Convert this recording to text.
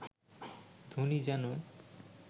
ধ্বনি যেন